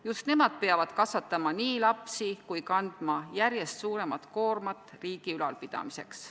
Just nemad peavad nii lapsi kasvatama kui ka kandma järjest suuremat koormat riigi ülalpidamiseks.